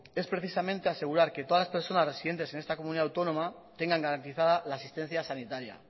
es precisamente asegurar que todas las personas residentes en esta comunidad autónoma tengan garantizada la asistencia sanitaria